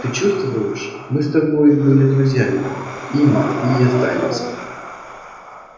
ты чувствуешь мы с тобой были друзьями ими и останемся